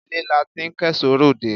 Ilé la ti ń kẹ́ṣọ̀ọ́ ròde